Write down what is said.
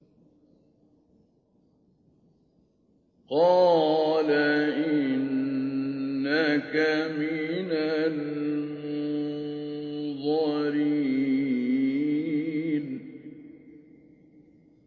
قَالَ إِنَّكَ مِنَ الْمُنظَرِينَ